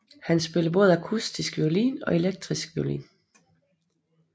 Han spiller både akustisk violin og elektrisk violin